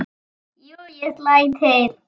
Jú, ég slæ til